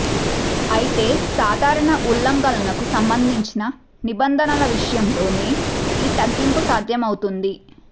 అయితే సాధారణ ఉల్లంఘనలకు సంబంధించిన నిబం ధనల విషయంలోనే ఈ తగ్గింపు సాధ్యమవుతుంది